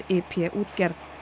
i p útgerð